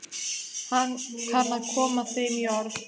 Hann kann að koma þeim í orð.